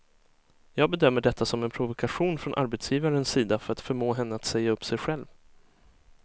Jag bedömer detta som en provokation från arbetsgivarens sida för att förmå henne att säga upp sig själv.